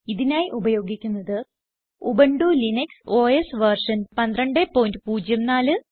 ഇതിനായി ഉപയോഗിക്കുന്നത് Ubuntu Linux OS version 1204